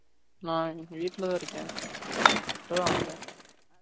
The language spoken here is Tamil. நான் இன்னிக்கு வீட்ல தான் இருக்கேன் இப்போ தான் வந்தேன்